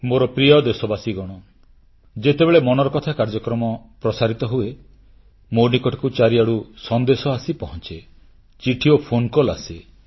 ମୋର ପ୍ରିୟ ଦେଶବାସୀଗଣ ଯେତେବେଳେ ମନ୍ କି ବାତ୍ କାର୍ଯ୍ୟକ୍ରମ ପ୍ରସାରିତ ହୁଏ ମୋ ନିକଟକୁ ଚାରିଆଡ଼ୁ ସନ୍ଦେଶ ଆସି ପହଂଚେ ଚିଠି ଓ ଫୋନକଲ୍ ଆସେ